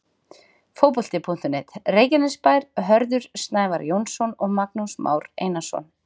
Fótbolti.net, Reykjanesbær- Hörður Snævar Jónsson og Magnús Már Einarsson.